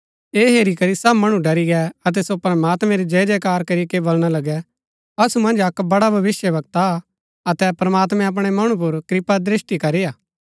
ऐह हेरी करी सब मणु डरी गै अतै सो प्रमात्मैं री जयजयकार करीके बलणा लगै असु मन्ज अक्क बड़ा भविष्‍यवक्ता आ अतै प्रमात्मैं अपणै मणु पुर कृपादृष्‍टि करीआ